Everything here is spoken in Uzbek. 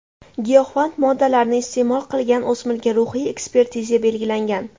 Giyohvand moddalarni iste’mol qilgan o‘smirga ruhiy ekspertiza belgilangan.